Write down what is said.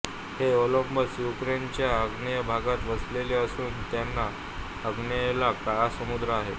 हे ओब्लास्त युक्रेनच्या आग्नेय भागात वसले असून त्याच्या आग्नेयेला काळा समुद्र आहे